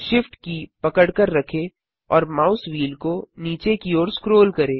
SHIFT की पकड़कर रखें और माउस व्हील को नीचे की ओर स्क्रोल करें